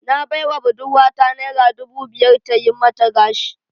Na baiwa budurwata naira dubu biyar ta yi mata gashi